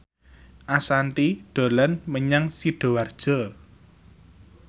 Ashanti dolan menyang Sidoarjo